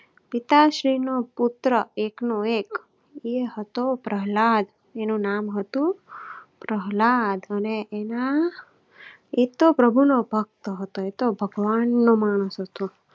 પિતાશ્રી નો પુત્ર એકનો એક એ હતો પ્રહલાદ એનું નામ હતું પ્રહલાદ અને એના એ તો પ્રભુ નો ભક્ત હતો. ભગવાન નો માણસો તો